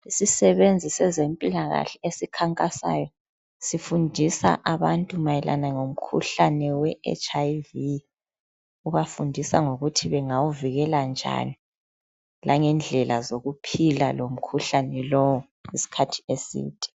Isisebenzi sezempilakahle esikhankasayo sifundisa abantu mayelana ngomkhuhlane weHIV.Ubafundisa ngokuthi bangawuvikela njani langendlela zokuphila lomkhuhlane lowu isikhathi eside.